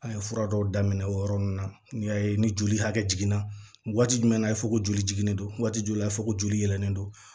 An ye fura dɔw daminɛ o yɔrɔ ninnu na n'i y'a ye ni joli hakɛ jiginna waati jumɛn na a ye fɔ ko joli jiginnen don waati joli la a fɔ ko joli yɛlɛlen don